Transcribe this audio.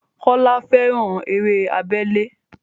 Kọ́lá fẹ́ran eré abẹ́lé